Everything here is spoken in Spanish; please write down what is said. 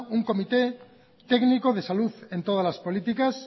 un comité técnico de salud en todas las políticas